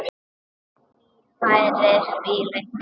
Því færra, því lengri.